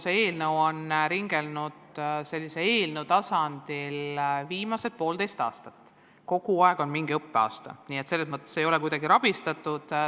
See eelnõu on eelnõu tasandil ringelnud juba viimased poolteist aastat ja kogu aeg on mingi õppeaasta olnud pooleli, nii et selles mõttes ei ole kuidagi rabistatud.